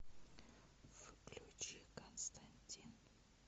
включи константин